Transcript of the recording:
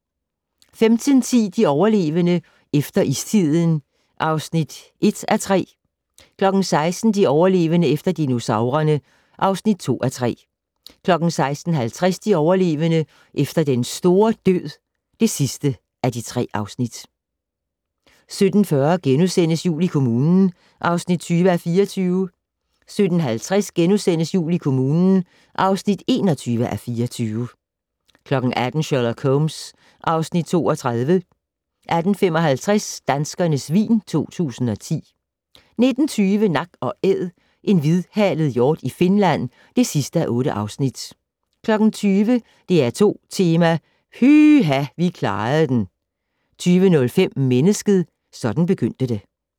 15:10: De overlevende - efter istiden (1:3) 16:00: De overlevende - efter dinosaurerne (2:3) 16:50: De overlevende - efter den store død (3:3) 17:40: Jul i kommunen (20:24)* 17:50: Jul i kommunen (21:24)* 18:00: Sherlock Holmes (Afs. 32) 18:55: Danskernes vin 2010 19:20: Nak & Æd - en hvidhalet hjort i Finland (8:8)* 20:00: DR2 Tema: Pyha - vi klarede den! 20:05: Mennesket - sådan begyndte det